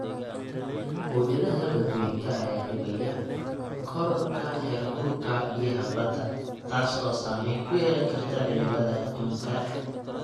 Mawjadaha badweynta ayaa dhibaya kororka heerkulka biyaha badda, taas oo saameyn ku yeelan karta cimilada adduunka.